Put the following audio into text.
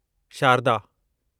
Sharda